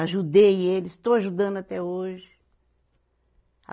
Ajudei eles, estou ajudando até hoje. a